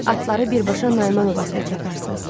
Atları birbaşa Nayman obasına çaparsız.